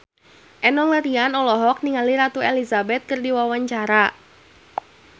Enno Lerian olohok ningali Ratu Elizabeth keur diwawancara